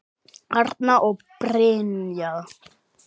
Arna og Brynja.